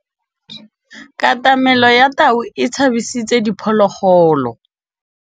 Katamêlô ya tau e tshabisitse diphôlôgôlô.